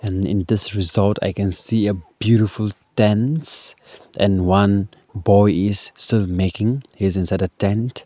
and in this resort i can see a beautiful tents and one boy is still making he is inside a tent.